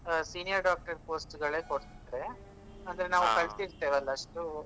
Senior doctor post ಗಳೆ ಕೊಡ್ತಾರೆ ಆದ್ರೆ ನಾವು ಕಲ್ತಿರ್ತೇವಲ್ಲ ಅಷ್ಟು.